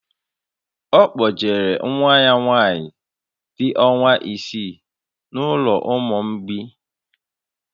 Ọ kpọjere nwa ya nwaanyị dị ọnwa isii n'ụlọ ụmụ mgbei